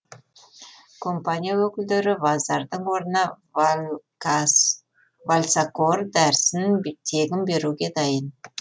компания өкілдері вазардың орнына вальсакор дәрісін тегін беруге дайын